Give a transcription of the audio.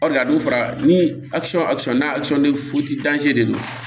a don fara ni n'a de don